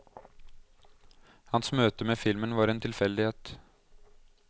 Hans møte med filmen var en tilfeldighet.